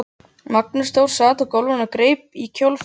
Magnús Þór sat á gólfinu og greip í kjólfald hennar